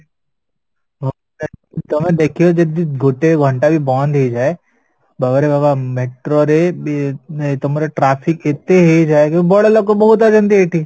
ତମେ ଦେଖିବ ଯଦି ଗୋଟେ ଘଣ୍ଟା ବି ବନ୍ଦ ହେଇଯାଏ ବାବାରେ ବାବା metroରେ ବି ତମର traffic ଏତେ ହେଇଯାଏ କି ବଡ଼ଲୋକ ବହୁତ ଅଛନ୍ତି ଏଠି